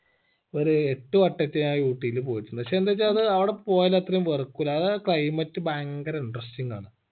ഒരു എട്ട് വട്ടാറ്റോ ഞാൻ ഊട്ടീല് പോയിട്ടുണ്ട് പക്ഷെ എന്താച്ച അത് അവിട പോയ അത്രയും വെറുക്കൂല അത് അയ climate ഭയങ്കര interesting ആണ്